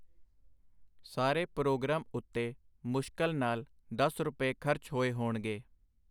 ਸਾਰੇ ਪਰੋਗਰਾਮ ਉਤੇ ਮੁਸ਼ਕਲ ਨਾਲ ਦਸ ਰੁਪਏ ਖਰਚ ਹੋਏ ਹੋਣਗੇ.